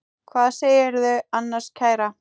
Hvað segirðu annars, kæra?